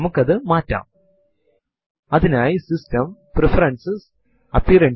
ഇപ്പോൾ input ന്റെ അവസാനം ആയി എന്ന് സൂചിപ്പിക്കുവാനായി എന്റർ കീ അമർത്തുക